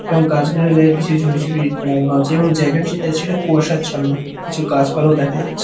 এবং গাছগুলির গায়ে কিছু ঝুড়ি ঝুড়ি লাগানো আছে এবং জায়গায় যেটা আছে সেটা কুয়াশচ্ছন্ন কিছু গাছপালাও দেখা যাচ্ছে।